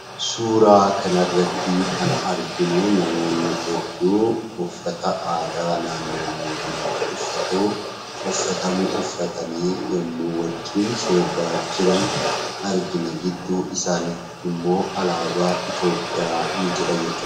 Suuraa kanarrattii kan arginuu namoonni hedduu uffata aadaa naannoo booranaatti uffatuu uffatamu uffatanii yemmuu wajjin sirbaa jiran argina. Gidduu isaaniitti immoo alaabaa Itoophiyaa ni jira jechuudha.